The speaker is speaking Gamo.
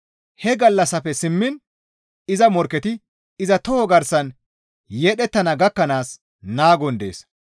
He gallassafe simmiin iza morkketi iza toho garsan yedhettana gakkanaas naagon dees.